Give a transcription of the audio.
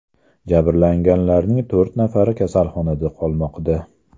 Jabrlanganlarning to‘rt nafari kasalxonada qolmoqda.